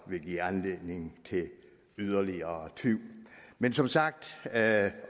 vil give anledning til yderligere tvivl men som sagt er